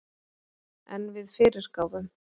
En við fyrirgáfum